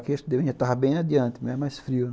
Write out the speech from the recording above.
Aqui, acho que devia estar bem adiante, mas é mais frio.